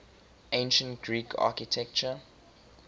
ancient greek architecture